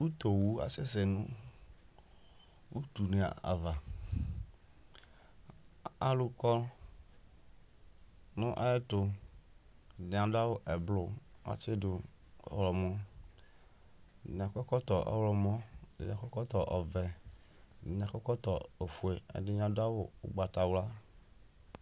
utuwu kasɛsɛ nʊ utu ne ava, alʊ kɔ, nʊ ayɛtu, ɛdɩ adʊ awu eblu kʊ atsidʊ ɔwlɔmɔ, ɛdɩnɩ akɔ ɛkɔtɔ ɔwlɔmɔ, edɩnɩ akɔ ɛkɔtɔ ɔvɛ, edɩnɩ akɔ ɛkɔtɔ ofue, ɛdɩnɩ adʊ awu ʊgbatawla